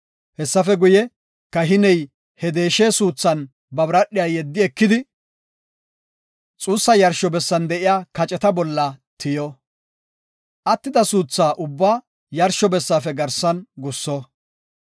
Hessafe guye, kahiney he deeshe suuthan ba biradhiya yeddi ekidi xuussa yarsho bessan de7iya kaceta bolla tiyo. Attida suutha ubbaa yarsho bessaafe garsan gusso.